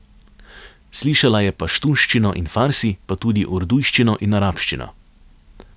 Slišala je paštunščino in farsi, pa tudi urdujščino in arabščino.